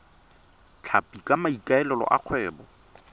tlhapi ka maikaelelo a kgwebo